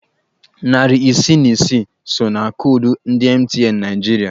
Narị isii na isi so na koodu ndị MTN Naịjirịa.